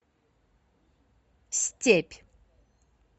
степь